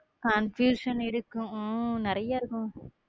Confusion இருக்கும் உம் நிறையா இருக்கும்